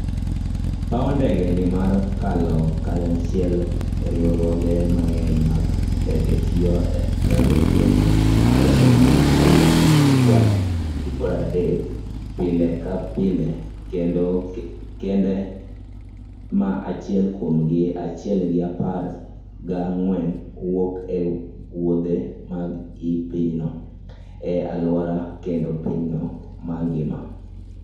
paw ndege ni ma kalo kanyachiel riwruoge mang'eny mag ndege tiyo ni ndeke ma romo mia ariyo gi pwa dek pile ka pile, kendo kende ma chiegni mia achiel gi apar ga ng'wen wuok e wuothe mag i pinyno, e alwora kendo piny mangima.